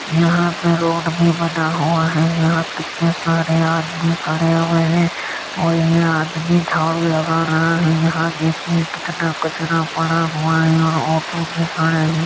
यहाँ पे रोड भी बना हुआ है। यहाँ कितने सारे आदमी खड़े हुए हैं और ये आदमी झाड़ू लगा रहा है। यहाँ देखिए कितना कचरा पड़ा हुआ है और ऑटो भी खड़े हैं।